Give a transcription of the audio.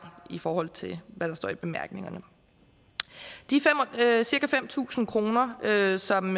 i forhold til hvad der står i bemærkningerne de cirka fem tusind kr som